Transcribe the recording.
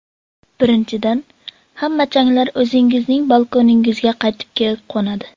Birinchidan, hamma changlar o‘zingizning balkoningizga qaytib kelib qo‘nadi.